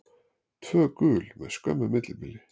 Tvö gul með skömmu millibili.